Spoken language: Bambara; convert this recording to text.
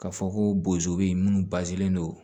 Ka fɔ ko bozo be yen munnu don